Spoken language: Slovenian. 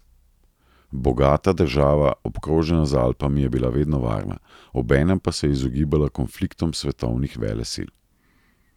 Bogata država, obkrožena z Alpami je bila vedno varna, obenem pa se je izogibala konfliktom svetovnih velesil.